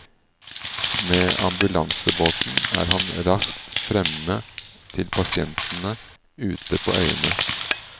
Med ambulansebåten er han raskt fremme til pasientene ute på øyene.